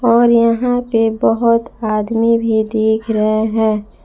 और यहां पे बहुत आदमी भी दिख रहे हैं।